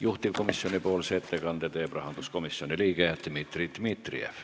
Juhtivkomisjoni ettekande teeb rahanduskomisjoni liige Dmitri Dmitrijev.